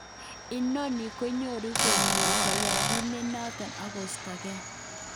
Inoni nyogor koyoche koyai kit nenoton okostoge